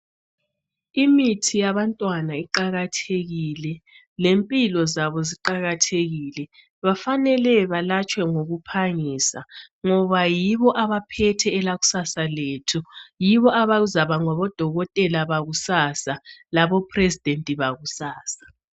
Imithi yabantwana iqakathekile. Lempilo zabo ziqakathekile. Bafanele balatshwe ngokuphangisa, ngoba yibo abaphethe elakusasa lethu. Yibo abazakuba ngabodokotela bakusasa. LaboPresident bakusasa.